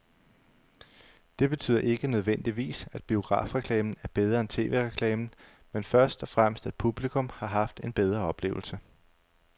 Det betyder ikke nødvendigvis, at biografreklamen er bedre end tv-reklamen, men først og fremmest at publikum har haft en bedre oplevelse.